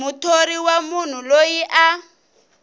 muthori wa munhu loyi a